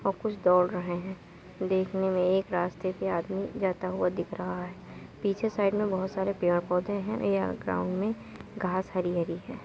और कुछ दौड़ रहे हैं। देखने में एक रास्ते पे आदमी जाता हुआ दिख रहा है। पीछे साइड मे बहोत सारे पेड़-पौधे हैं। यहाँ ग्राउंड मे घाँस हरी-हरी है।